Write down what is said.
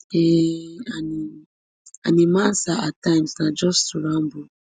um and im and im answer at times na just to ramble